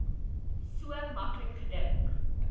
so maklik gedink